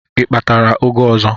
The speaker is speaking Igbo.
I kpatara ụgụ ọzọ?